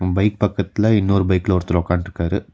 Bike பக்கத்துல இன்னொரு பைக்ல ஒருத்தர் ஒக்கான்ட்ருக்காரு.